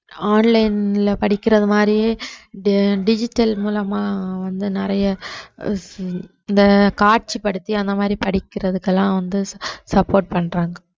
online ல படிக்கிறது மாதிரியே di~ digital மூலமா வந்து நிறைய இந்த காட்சிப்படுத்தி அந்த மாதிரி படிக்கிறதுக்கெல்லாம் வந்து su~ support பண்றாங்க